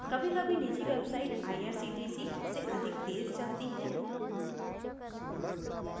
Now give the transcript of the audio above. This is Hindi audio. कभीकभी निजी websites irctc से अधिक तेज़ चलती है